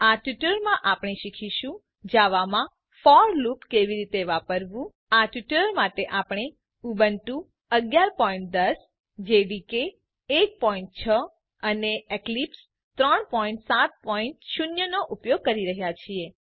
આ ટ્યુટોરીયલમાં આપણે શીખીશું જાવામાં ફોર લુપ કેવી રીતે વાપરવું આ ટ્યુટોરીયલ માટે આપણે ઉબુન્ટુ 1110 જેડીકે 16 અને એક્લિપ્સ 370 નો ઉપયોગ કરી રહ્યા છીએ